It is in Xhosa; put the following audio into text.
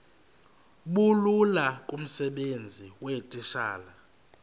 bulula kumsebenzi weetitshala